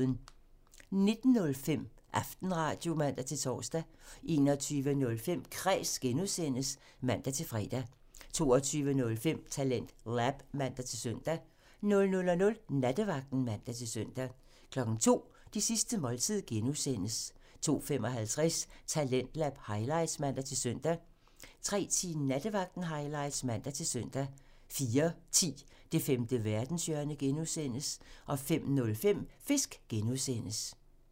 19:05: Aftenradio (man-tor) 21:05: Kræs (G) (man-fre) 22:05: TalentLab (man-søn) 00:00: Nattevagten (man-søn) 02:00: Det sidste måltid (G) (man) 02:55: Talentlab highlights (man-søn) 03:10: Nattevagten highlights (man-søn) 04:10: Det femte verdenshjørne (G) (man) 05:05: Fisk (G) (man)